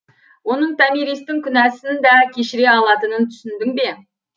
оның томиристың күнәсін да кешіре алатынын түсіндің бе